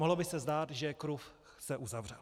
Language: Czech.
Mohlo by se zdát, že kruh se uzavřel.